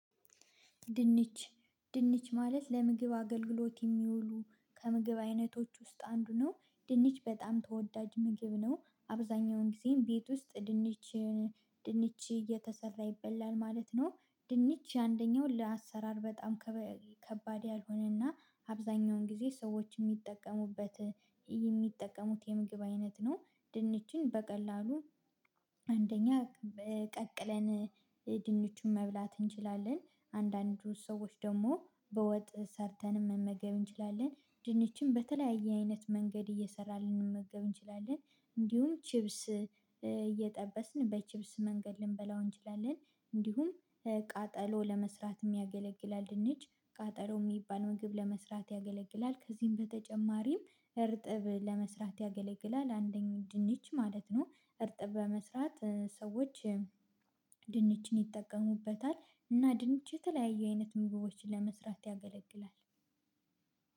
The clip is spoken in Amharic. ድንች ድንች ማለት ለምግብ አገልግሎት የሚውሉ ከምግብ አይነቶች ውስጥ አንዱ ነው ድንች በጣም ተወዳጅ ምግብ ነው። አብዛኛውን ጊዜም ቤት ውስጥ ድንች ድንች እየተሰራ ይበላል ማለት ነው። ድንች አንደኛው ለአሰራር በጣም ከባድ ያልሆነና አብዛኛውን ጊዜ ሰዎች የሚጠቀሙበት የሚጠቀሙት የምግብ አይነት ነው። ድንችን በቀላሉ አንደኛ ቀቅለን ድንቹን መብላት እንችላለን። አንዳንድ ሰዎች ደግሞ በወጥ ሰርተን መመገብ እንችላለን። ድንችን በተለያየ አይነት መንገድ እየሰራን ልንመገብ እንችላለን። እንዲሁም ቺፕስ እየጠበስን በቺፕስ መንገድ ልንበላው እንችላለን። እንዲሁም ቃጠሎ ለመስራትም ያገለግላል ድንች ቃጠሎ የሚባል ምግብ ለመስራት ያገለግላል። ከዚህም በተጨማሪም እርጥብ ለመስራት ያገለግላል አንደኛው ድንች ማለት ነው። እርጥብ በመስራት ሰዎች ድንችን ይጠቀሙበታል። እና ድንች የተለያዩ አይነት ምግቦችን ለመስራት ያገለግላል።